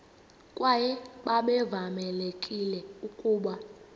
kwaye babevamelekile ukuba